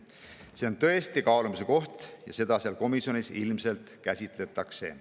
See on tõesti kaalumise koht ja seda seal komisjonis ilmselt käsitletakse.